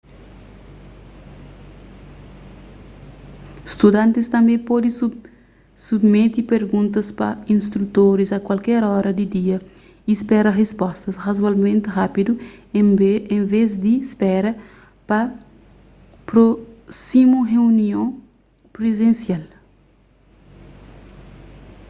studantis tanbê pode subimete perguntas pa instrutoris a kualker ora di dia y spera rispostas razoavelmenti rápidu en vez di spera pa prósimu reunion prizensial